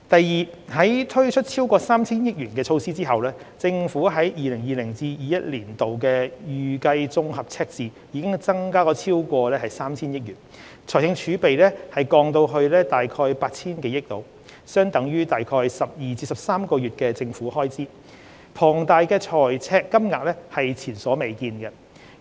二在推出超過 3,000 億元的措施後，政府 2020-2021 年度的預計綜合赤字已增至超過 3,000 億元，財政儲備則降至約 8,000 多億元，相等於約12至13個月的政府開支，龐大的財赤金額是前所未見。